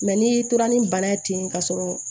Mɛ n'i tora ni bana ye ten ka sɔrɔ